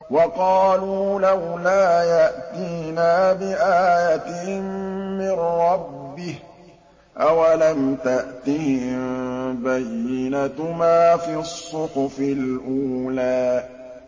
وَقَالُوا لَوْلَا يَأْتِينَا بِآيَةٍ مِّن رَّبِّهِ ۚ أَوَلَمْ تَأْتِهِم بَيِّنَةُ مَا فِي الصُّحُفِ الْأُولَىٰ